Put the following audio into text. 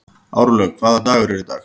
Árlaug, hvaða dagur er í dag?